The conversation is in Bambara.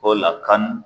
O la kan